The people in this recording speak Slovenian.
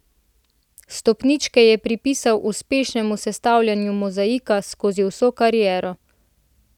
Stopničke je pripisal uspešnemu sestavljanju mozaika skozi vso kariero.